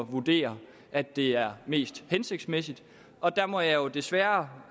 vurderer at det er mest hensigtsmæssigt og der må jeg jo desværre